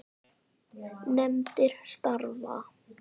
Nefndir starfa